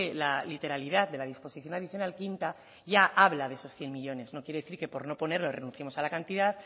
la literalidad de la disposición adicional quinta ya habla de esos cien millónes no quiere decir que por no ponerlo renunciemos a la cantidad